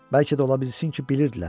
Bəlkə də ola bilsin ki, bilirdilər.